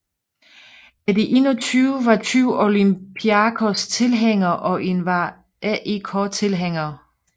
Af de 21 var 20 Olympiakos tilhængere og en var AEK tilhænger